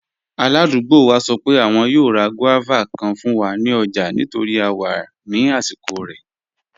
Aládùgbò wa sọ pé àwọn yòò rá guavas kàn fún wa ní ọ̀jà nítorí à wà ní àsìkò rẹ̀.